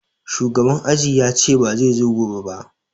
Shugaban aji yace ba zai zo gobe ba